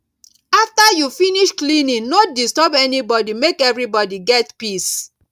after you finish cleaning no disturb anybody make everybody get peace